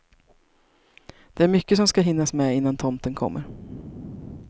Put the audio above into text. Det är mycket som ska hinnas med innan tomten kommer.